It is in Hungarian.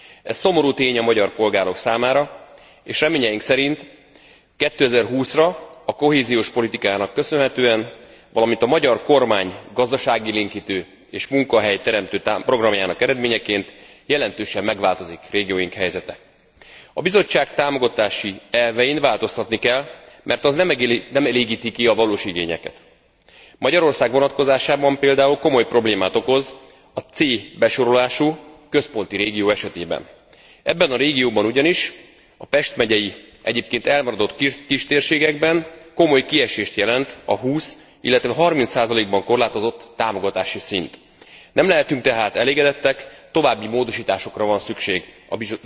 Ez szomorú tény a magyar polgárok számára, és reményeink szerint 2020 ra a kohéziós politikának köszönhetően, valamint a magyar kormány gazdaságélénkítő és munkahelyteremtő programjának eredményeként jelentősen megváltozik régióink helyzete. A Bizottság támogatási elvein változtatni kell, mert ezek nem elégítik ki a valós igényeket. Magyarország vonatkozásában pl. komoly problémát okoz a C besorolású, központi régió esetében. Ebben a régióban ugyanis a Pest megyei, egyébként elmaradott kistérségekben komoly kiesést jelent a 20, illetve 30 ban korlátozott támogatási szint. Nem lehetünk tehát elégedettek, további módosításokra van szükség